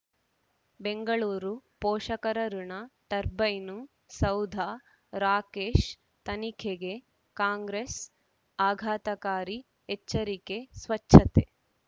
ಬೆಂಗಳೂರು ಪೋಷಕರಋಣ ಟರ್ಬೈನು ಸೌಧ ರಾಕೇಶ್ ತನಿಖೆಗೆ ಕಾಂಗ್ರೆಸ್ ಆಘಾತಕಾರಿ ಎಚ್ಚರಿಕೆ ಸ್ವಚ್ಛತೆ